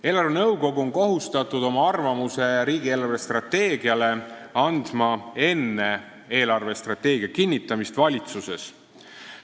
Eelarvenõukogu on kohustatud oma arvamuse riigi eelarvestrateegia kohta andma enne eelarvestrateegia kinnitamist valitsuses.